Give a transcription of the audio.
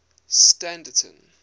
standerton